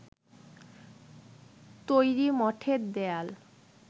তৈরি মঠের দেয়াল